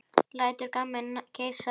Lætur gamminn geisa.